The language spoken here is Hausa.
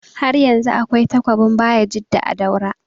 Haryanzu akwai takobin bayajidda a daura